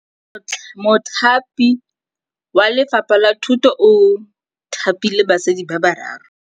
Mothapi wa Lefapha la Thutô o thapile basadi ba ba raro.